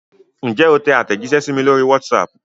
Ǹjẹ́ o tẹ àtẹ̀jíṣẹ́ sí mi lórí WhatsApp?